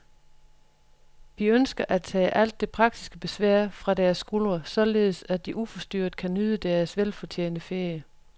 Vi ønsker at tage alt det praktiske besvær fra deres skuldre, således at de uforstyrret kan nyde deres velfortjente ferie.